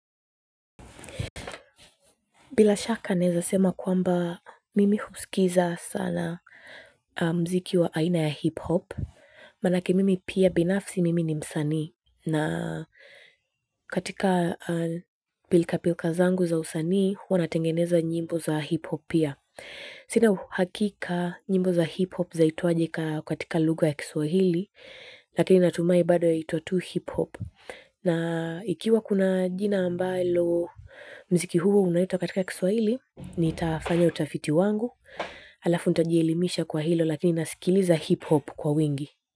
Bila shaka naeza sema kwamba mimi husikiza sana muziki wa aina ya hip hop, manake mimi pia binafsi mimi ni msanii, na katika pilka pilka zangu za usanii, huwa natengeneza nyimbo za hip hop pia. Sina uhakika nyimbo za hip hop zaitwaje katika lugha ya Kiswahili, lakini natumahi bado yaitwa tu hip hop. Na ikiwa kuna jina ambalo muziki huo unaitwa katika kiswaili nitafanya utafiti wangu. Alafu nitajielimisha kwa hilo lakini nasikiliza hip hop kwa wingi.